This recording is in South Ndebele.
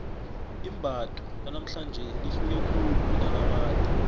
imbatho lanamhlanje lihluke khulu kunelakade